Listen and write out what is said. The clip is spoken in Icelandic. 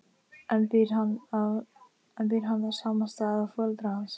En býr hann á sama stað og foreldrar hans?